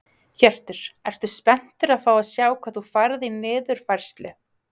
Hjörtur: Ertu spenntur að fá að sjá hvað þú færð í niðurfærslu?